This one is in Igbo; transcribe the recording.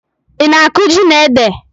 Ị na-akụ ji na ede?